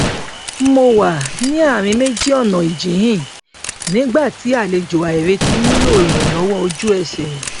mo wà ní àárín méjì ọnà ìjíhìn nígbà tí àlejò àìretí nílò ìrànlọwọ ojú ẹsẹ